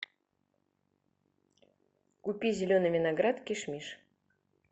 купи зеленый виноград кишмиш